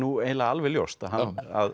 alveg ljóst að hann